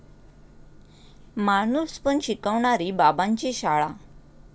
माणूसपण शिकवणारी 'बाबांची शाळा'